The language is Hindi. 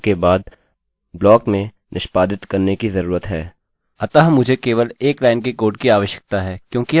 अतः मुझे केवल एक लाइन के कोड की आवश्यकता है क्योंकि यह ठीक दिखाई पड़ता हैं